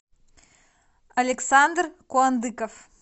александр куандыков